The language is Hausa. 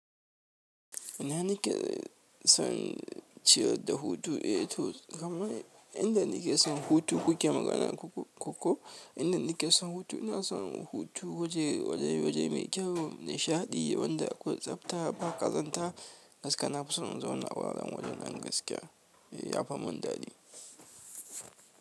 Ina nike son ciyar da hutu, eh to kamar inda nike son hutu kuke magana koko? Inda nike son hutu ina son hutu waje waje waje mai kyau nishaɗi wanda akwai tsabta ba ƙazanta gaskiya nafu son in zauna wuraren wajen nan gaskiya yafa mun daɗi.